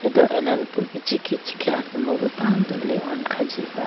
aye do alanupu bi ichikhi ichikhi asimbo bo tando lihone khajiba